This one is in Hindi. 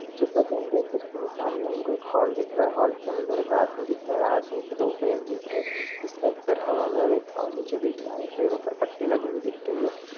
जैसा की हम देख सकते है सामने में हमको एक हॉल दिख रहा है। हॉल के अंदर एक आदमी दिख रहा है। आदमी के दो पैर दिख रहे है जिसका एक पैर हवा में और पाव निचे दिख रहा है पैरो पर पट्टी लगी हुई दिख रही है।